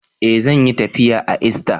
Eh, zan yi tafiya a ista.